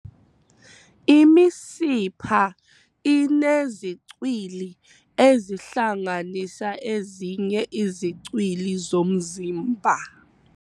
Imisipha inezicwili ezihlanganisa ezinye izicwili zomzimba.